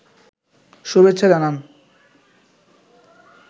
শুভেচ্ছা জানান